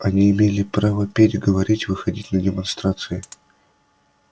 они имели право петь говорить выходить на демонстрации